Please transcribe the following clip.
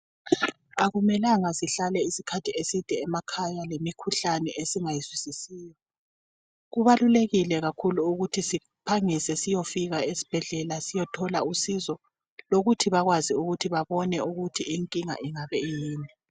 Akumelanga sihlale isikhathi eside emakhaya lemikhuhlane esingayizwisisiyo kubalulekile kakhulu ukuthi siphangise siyofika esibhedlela siyithola usizo lokuthi bakwazi ukuthi babone inkinga ingabe iyini.